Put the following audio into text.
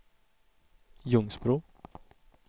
Ljungsbro